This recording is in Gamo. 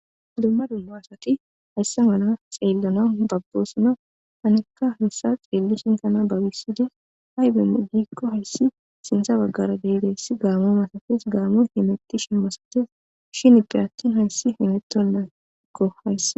Dumma dummo asati haysse mala xeellana babbosona hanekka hessa xeelli shintana babisidi hayben giikko hayssi sinsa baggara deyideyssi gaamu masafrs gaamu hemeti shen masajes shin ippiratin hayssi hemettonnaakko hayssa.